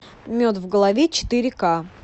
мед в голове четыре ка